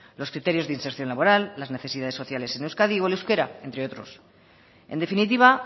los criterios de inserción laboral las necesidades sociales en euskadi o el euskera entre otros en definitiva